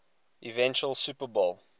eventual super bowl